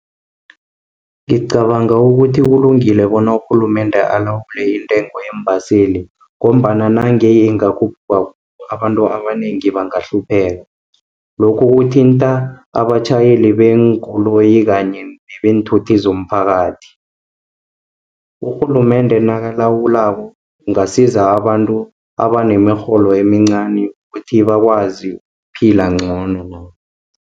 Ngicabanga ukuthi kulungile bona urhulumende alawule intengo yeembaseli, ngombana nange ingakhuphuka, abantu abanengi bangahlupheka. Lokhu kuthinta abatjhayeli beenkoloyi kanye nebeenthuthi zomphakathi. Urhulumende nakalawulako, kungasiza abantu abanemirholo emincani, ukuthi bakwazi ukuphila ngcono.